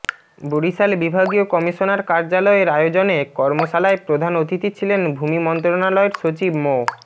বরিশাল বিভাগীয় কমিশনার কার্যালয়ের আয়োজনে কর্মশালায় প্রধান অতিথি ছিলেন ভূমি মন্ত্রণালয়ের সচিব মো